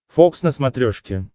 фокс на смотрешке